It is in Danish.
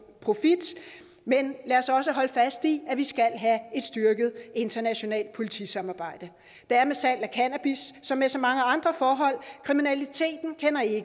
men lad os også holde fast i at vi skal have et styrket internationalt politisamarbejde det er med salg af cannabis som med så mange andre forhold at kriminaliteten